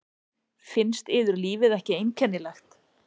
Finnst yður lífið ekki einkennilegt?